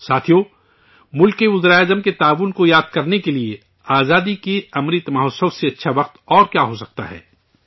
ساتھیو، ملک کے وزرائے اعظم کے تعاون کو یاد کرنے کے لیے آزادی کے امرت مہوتسو سے اچھا وقت اور کیا ہو سکتا ہے